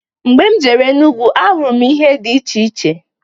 Mgbe m jere Enugu n'ahụrụ m ihe di iche iche.